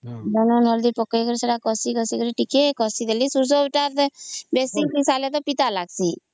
ଲୁଣ ହଳଦୀ ଦେଇକରି କଷିଦେଲି ସୋରିଷ ବେଶୀ କଷିଦେଲେ ତା ପିତା ଲାଗୁଚି